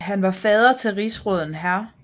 Han var fader til rigsråden hr